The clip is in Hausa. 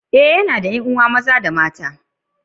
l yana da 'yan'uwa maza da mata uku.